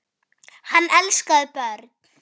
Hann elskaði börn.